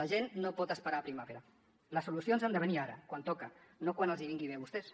la gent no pot esperar la primavera les solucions han de venir ara quan toca no quan els vingui bé a vostès